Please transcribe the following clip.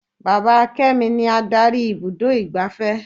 Bàbá kémi ni Ádárì ibùdó igbàfẹ́.